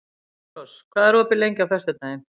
Petrós, hvað er opið lengi á föstudaginn?